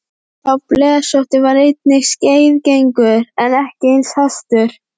Sá blesótti var einnig skeiðgengur en ekki eins hastur.